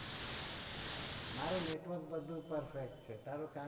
મારુ network perfect છે.